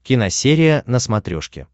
киносерия на смотрешке